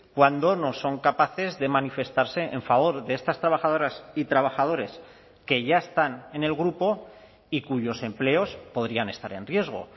cuando no son capaces de manifestarse en favor de estas trabajadoras y trabajadores que ya están en el grupo y cuyos empleos podrían estar en riesgo